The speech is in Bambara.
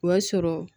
O y'a sɔrɔ